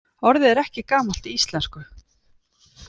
Orðið er ekki gamalt í íslensku.